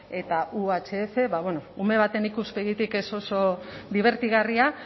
eta uhf ume baten ikuspegitik ez oso dibertigarria